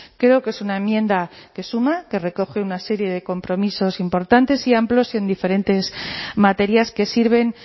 creo que es una enmienda que suma que recoge una serie de compromisos importantes y amplios en diferentes materias que sirven